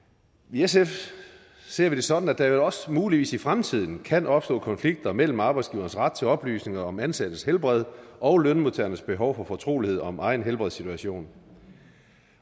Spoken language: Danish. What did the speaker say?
i sf ser vi det sådan at der også muligvis i fremtiden kan opstå konflikter mellem arbejdsgiverens ret til oplysninger om ansattes helbred og lønmodtagernes behov for fortrolighed om egen helbredssituation